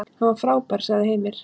Hann var frábær, sagði Heimir.